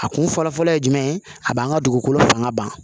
A kun fɔlɔfɔlɔ ye jumɛn ye a b'an ka dugukolo fanga ban